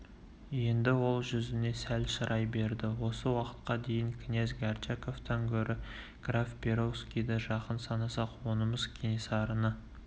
енді ол жүзіне сәл шырай берді осы уақытқа дейін князь горчаковтан гөрі граф перовскийді жақын санасақ онымыз кенесарыны